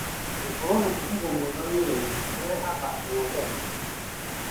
Gũkorwo na mũfango mwega wĩrainĩ kurehaga ũhotani